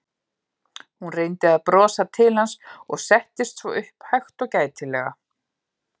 Hún reyndi að brosa til hans og settist svo upp hægt og gætilega.